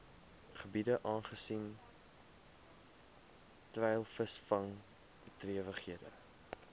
gebiede aangesien treilvisvangbedrywighede